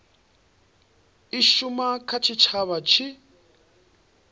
i shuma kha tshitshavha tshi